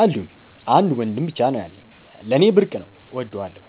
አሉኝ። አንድ ወንድም ብቻ ነው ያለኝ። ለኔ ብርቅ ነው እወደዋለሁ።